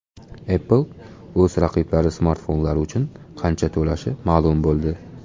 Apple o‘z raqiblari smartfonlari uchun qancha to‘lashi ma’lum bo‘ldi.